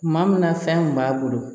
Tuma min na fɛn kun b'a bolo